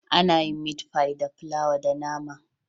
Ana yin miti fai da flawa da nama